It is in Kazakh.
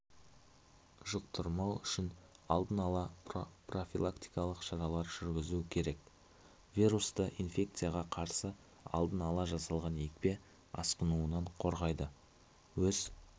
жұқтырмау үшін алдын-ала профилактикалық шаралар жүргізу керек вирусты инфекцияға қарсы алдын-ала жасалған екпе асқынуынан қорғайды өз